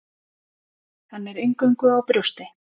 Hann er eingöngu á brjósti.